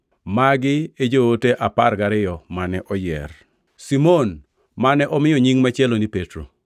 Magi e joote apar gariyo mane oyier: Simon (mane omiyo nying machielo ni Petro);